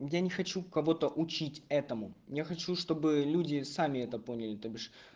я не хочу кого-то учить этому я хочу чтобы люди сами это поняли то бишь